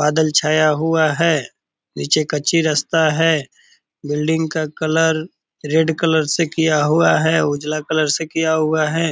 बादल छाया हुआ है। नीचे कच्ची रस्ता है। बिल्डिंग का कलर रेड कलर से किया हुआ है उजला कलर से किया हुआ है।